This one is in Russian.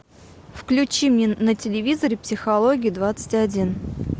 включи мне на телевизоре психология двадцать один